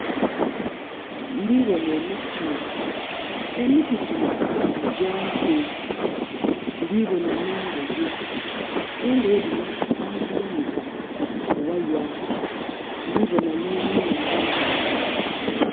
Ndiboona emiti. Emiti gyino nga gya nku. Ndiboona nh'engoye. Engoye dhino ba dhighanika ku waya. Ndiboona nh'enhumba.